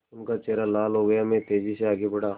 उनका चेहरा लाल हो गया मैं तेज़ी से आगे बढ़ा